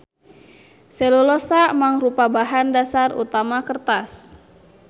Selulosa mangrupa bahan dasar utama kertas.